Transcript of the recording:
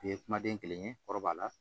U ye kumaden kelen ye kɔrɔ b'a la